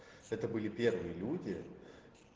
это были первые люди